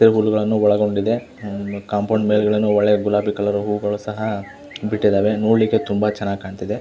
ಇಲ್ಲಿ ಹುಲ್ಲುಗಳನ್ನು ಒಳಗೊಂಡಿದೆ ಕಾಂಪೌಂಡ್ ಮೇಲೆ ಗುಲಾಬಿಹೂಗಳು ಸಹ ಬಿಟ್ಟಿದೆ ನೋಡ್ಲಿಕ್ಕೆ ತುಂಬಾ ಚೆನ್ನಾಗಿ ಕಾಂತಿದೆ.